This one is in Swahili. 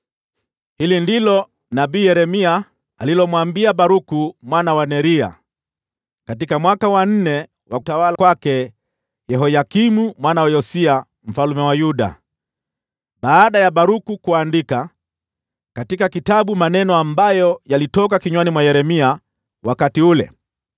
Hili ndilo nabii Yeremia alilomwambia Baruku mwana wa Neria katika mwaka wa nne wa utawala wa Yehoyakimu mwana wa Yosia mfalme wa Yuda, baada ya Baruku kuandika katika kitabu maneno ambayo yalitoka kinywani mwa Yeremia wakati ule: